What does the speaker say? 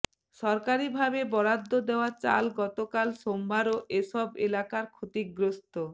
সরকারিভাবে বরাদ্দ দেওয়া চাল গতকাল সোমবারও এসব এলাকার ক্ষতিগ্রস্ত